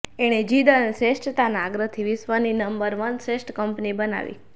એણે જીદ અને શ્રેષ્ઠતાના આગ્રહથી વિશ્વની નંબર વન શ્રેષ્ઠ કંપની બનાવી